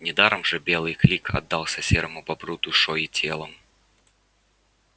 недаром же белый крик отдался серому бобру душой и телом